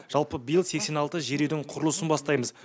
жалпы биыл сексен алты жер үйдің құрылысын бастаймыз